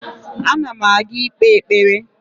Ana m aga ikpe ekpere